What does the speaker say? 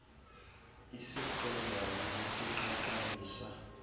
isiqendwana es iqaqambisa